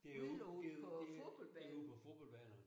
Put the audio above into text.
Derude der derude på fodboldbanerne